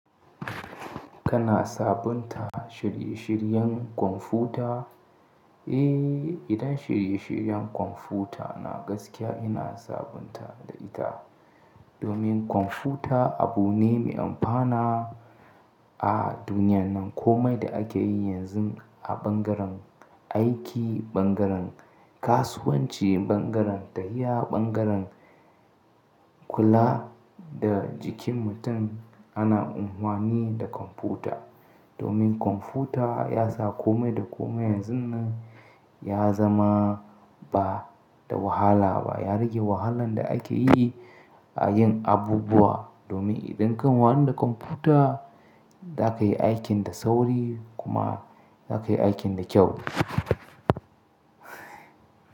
Kana sabunta shirye-shiryen kwamfuta? Eh, idan shirye-shiryen kwamfuta na gaskiya ina sabunta da ita. Domin kwamfuta abu ne mai amfana a duniyan nan. Komai da ake yi yanzu a ɓangaren aiki, ɓangaren kasuwanci, ɓangaren tahiya, ɓangaren kula da jikin mutum ana amfani da kwamfuta. Domin kwamfuta yasa kome da kome yanzun nan ya zama bada wahala ba. Ya rage wahalan da ake yi a yin abubuwa. Domin idan kan wani da kwamfuta zaka yi aikin da sauri kuma zaka yi aikin da kyau.